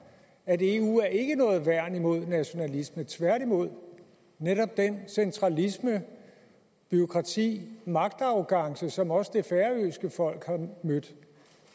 at eu ikke er noget værn imod nationalisme tværtimod netop den centralisme det bureaukrati og magtarrogance som også det færøske folk har mødt